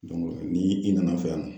ni i nana fɛ yan